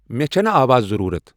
مے چھنہٕ آواز ضرورت ۔